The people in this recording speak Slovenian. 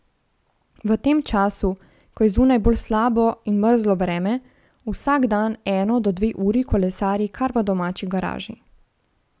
V tem času, ko je zunaj bolj slabo in mrzlo vreme, vsak dan eno do dve uri kolesari kar v domači garaži.